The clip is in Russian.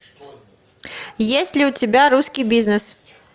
есть ли у тебя русский бизнес